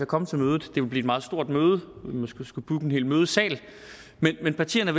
komme til mødet det vil blive et meget stort møde vi vil måske skulle booke en hel mødesal men partierne